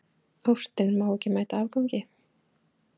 Ástin má ekki mæta afgangi.